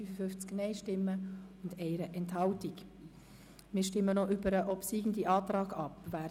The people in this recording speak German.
Wir stimmen über den obsiegenden Antrag ab.